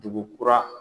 Dugu kura